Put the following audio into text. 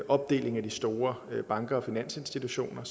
opdeling af de store banker og finansinstitutioner